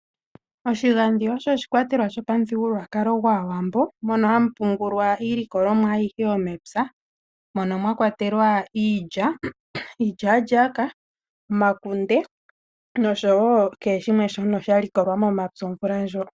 Oshigandhi osho oshikwatelwa shopamuthigukukwalo gwaawambo, mono hamu pungulwa iilikolomwa ayihe yomepya, mono mwakwatelwa iilya, iilyaalyaaka, omakunde, noshowo kehe shimwe sha likolwa momapya omvula ndjono.